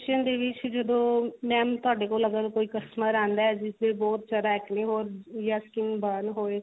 ਦੇ ਵਿੱਚ ਜਦੋਂ mam ਤੁਹਾਡੇ ਕੋਲ ਅਗਰ ਕੋਈ customer ਆਉਂਦਾ ਜਿਸ ਦੇ ਬਹੁਤ ਜਿਆਦਾ acne ਹੋਣ ਯਾ skin burn ਹੋਵੇ